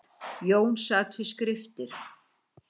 Jón sat við skriftir.